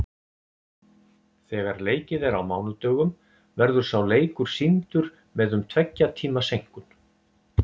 Þegar leikið er á mánudögum verður sá leikur sýndur með um tveggja tíma seinkun.